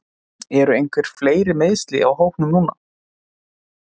Eru einhver fleiri meiðsli á hópnum núna?